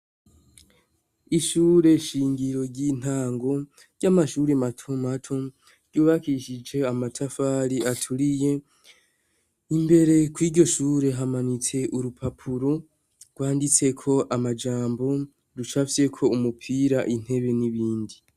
Ishure shingiro ry'intango ry'amashure matomato ryubakishije amatafari aturiye imbere kw'iryoshure hamanitse urupapuro rwanditse o amajambo, rucapfyeko umupira, intebe n'ibindi.